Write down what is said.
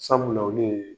Sabula olu ye